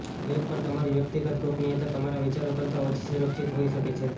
web પર તમારી વ્યક્તિગત ગોપનીયતા તમારા વિચારો કરતાં ઓછી સુરક્ષિત હોઈ શકે છે